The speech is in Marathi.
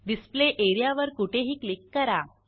डिस्प्ले एरिया वर कुठेही क्लिक करा